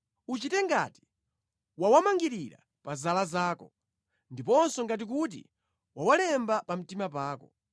Uchite ngati wawamangirira pa zala zako, ndiponso ngati kuti wawalemba pa mtima pako.